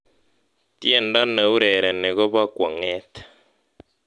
tiendo neurereni ko bo kwong'et